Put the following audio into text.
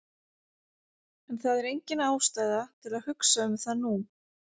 En það er engin ástæða til að hugsa um það nú.